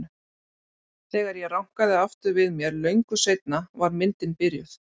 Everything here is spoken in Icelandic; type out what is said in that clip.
Þegar ég rankaði aftur við mér löngu seinna var myndin byrjuð.